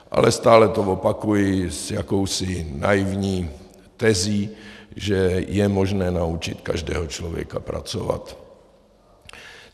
Ale stále to opakuji s jakousi naivní tezí, že je možné naučit každého člověka pracovat.